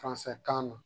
kan na